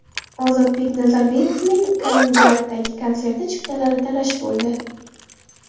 Ozodbek Nazarbekovning Kaliningraddagi konsert chiptalari talash bo‘ldi.